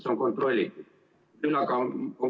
See on kontrollitud.